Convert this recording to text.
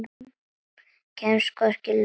Kemst hvorki lönd né strönd.